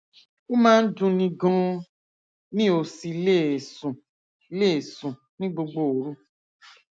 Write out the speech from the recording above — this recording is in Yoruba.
ó máa ń dunni ganan mi ò sì lè sùn lè sùn ní gbogbo òru